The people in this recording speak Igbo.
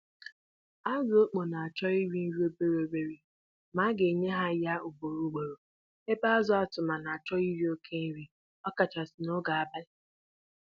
Azụ Apụpa n'ahọrọ iri-nri ntakịrị ugboro ugboro, ebe ọnamasị azụ Araghịra iri nnukwu nri n'oge mgbede.